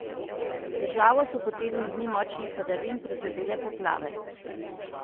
Državo so po tednu dni močnih padavin prizadele poplave.